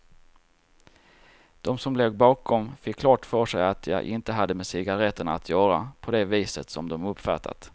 De som låg bakom fick klart för sig att jag inte hade med cigaretterna att göra på det viset som de uppfattat.